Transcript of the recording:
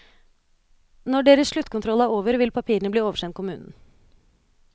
Når deres sluttkontroll er over, vil papirene bli oversendt kommunen.